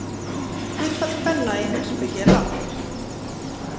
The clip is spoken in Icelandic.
Hlutfall kvenna í heimspeki er lágt.